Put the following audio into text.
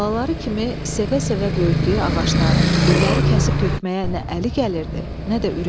Balaları kimi sevə-sevə böyütdüyü ağacları, gülləri kəsib tökməyə nə əli gəlirdi, nə də ürəyi.